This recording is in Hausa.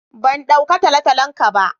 Ban dauka ta talotalon ka ba.